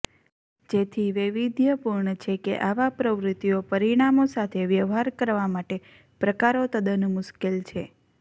જેથી વૈવિધ્યપુર્ણ છે કે આવા પ્રવૃત્તિઓ પરિણામો સાથે વ્યવહાર કરવા માટે પ્રકારો તદ્દન મુશ્કેલ છે